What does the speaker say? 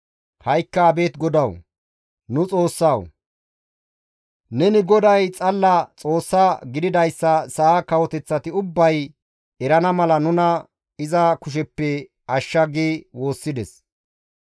Ha7ikka abeet GODAWU, nu Xoossawu neni GODAY xalla Xoossa gididayssa sa7a kawoteththati ubbay erana mala nuna iza kusheppe ashsha!» gi woossides.